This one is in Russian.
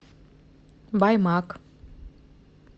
баймак